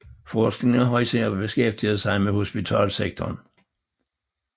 Forskningen har især beskæftiget sig med hospitalssektoren